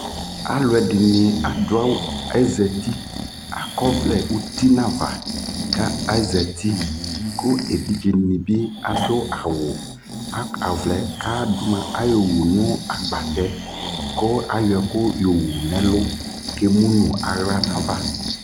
Alʋ ɛdɩnɩ adʋ awʋ Azati, akɔ ɔvlɛ uti nʋ ava kʋ azati kʋ evidzenɩ bɩ adʋ awʋ aka ɔvlɛ yɛ kʋ mʋa ayɔwu nʋ agbatɛ kʋ ayɔ ɛkʋ yɔwu nʋ ɛlʋ kʋ emu nʋ aɣla nʋ ava